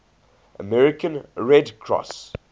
american red cross